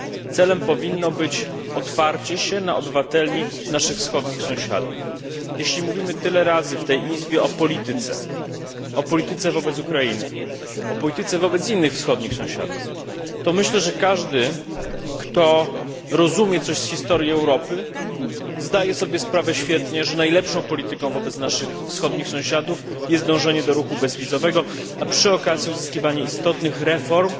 Celem powinno być otwarcie się na naszych wschodnich sąsiadów. Jeśli mówimy tak często w tej Izbie o polityce wobec Ukrainy, o polityce wobec innych wschodnich sąsiadów, to myślę, że każdy, kto rozumie coś z historii Europy, zdaje sobie świetnie sprawę, że najlepszą polityką wobec naszych wschodnich sąsiadów jest dążenie do ruchu bezwizowego i przy okazji uzyskiwanie istotnych reform,